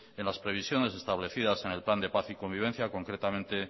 en las previsiones establecidas en el plan de paz y convivencia concretamente